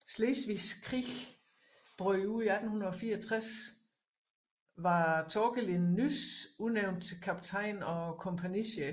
Slesvigske Krig brød ud 1864 var Thorkelin nys udnævnt til kaptajn og kompagnichef